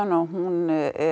og hún